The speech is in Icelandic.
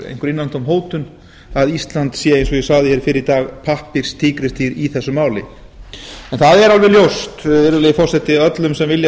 einhver innantóm hótun að ísland sé eins og ég sagði hér fyrr í dag pappírstígrisdýr í þessu máli en það er alveg ljóst virðulegi forseti öllum sem vilja